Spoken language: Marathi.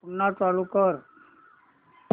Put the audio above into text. पुन्हा चालू कर